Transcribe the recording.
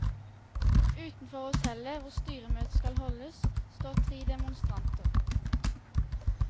Utenfor hotellet, hvor styremøtet skal holdes, står tre demonstranter.